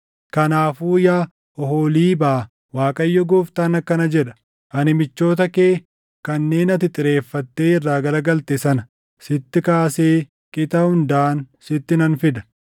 “Kanaafuu yaa Oholiibaa, Waaqayyo Gooftaan akkana jedha: Ani michoota kee kanneen ati xireeffattee irraa garagalte sana sitti kaasee qixa hundaan sitti nan fida.